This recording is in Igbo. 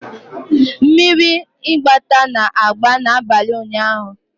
Mmiri mgbata na-agba n'abalị ụnyaahụ.